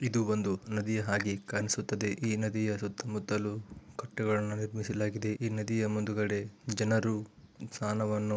ಇದು ಒಂದಿ ನದಿಯ ಹಾಗೆ ಕಾಣಿಸುತ್ತಿದೆ ಈ ನದಿಯ ಸುತ್ತ ಮುತ್ತಲು ಕಟ್ಟುಗಳನ್ನು ನಿರ್ಮಿಸಲಾಗಿದೆ ಈ ನದಿಯ ಮುಂದುಗಡೆ ಜನರು ಸ್ನಾನವನ್ನು